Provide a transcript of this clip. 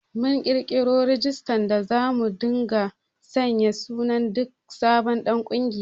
Mun ƙirƙiro rajistar da zamu dinga sanya sunan duk sabon ɗan ƙungiya